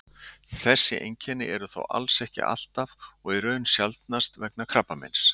þessi einkenni eru þó alls ekki alltaf og í raun sjaldnast vegna krabbameins